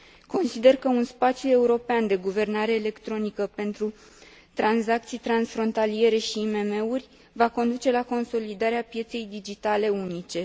Consider că un spațiu european de guvernare electronică pentru tranzacții transfrontaliere și IMM uri va conduce la consolidarea pieței digitale unice.